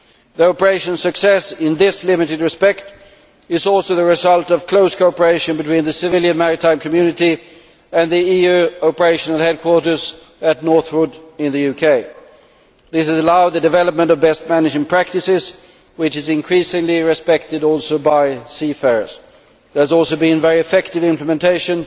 The operation's success in this limited respect is also the result of close cooperation between the civilian maritime community and the EU operational headquarters at Northwood in the UK. This has allowed the development of best management practices which are also increasingly respected by seafarers. There has also been very effective implementation